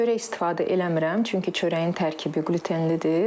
Çörək istifadə eləmirəm, çünki çörəyin tərkibi qlütenlidir.